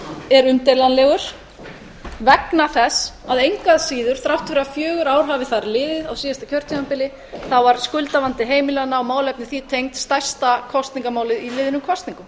er umdeilanlegur vegna þess að engu að síður þrátt fyrir fjögur ár hafi þar liðið á síðasta kjörtímabili var skuldavandi heimilanna og málefni því tengd stærsta kosningamálið í liðnum kosningum